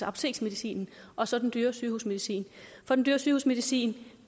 apoteksmedicin og så den dyre sygehusmedicin for den dyre sygehusmedicin